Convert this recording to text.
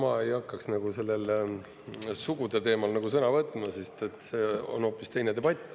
Aga no ma ei hakkaks nagu sellel sugude teemal sõna võtma, sest et see on hoopis teine debatt.